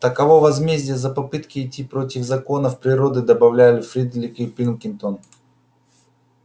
таково возмездие за попытки идти против законов природы добавляли фредерик и пилкингтон